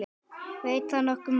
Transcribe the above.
Veit það nokkur maður?